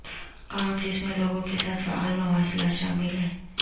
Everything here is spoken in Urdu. کام جس میں لوگوں کے ساتھ فعال مواصلات شامل ہے